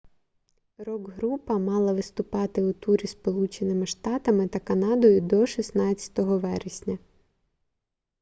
рок-група мала виступати у турі сполученими штатами та канадою до 16 вересня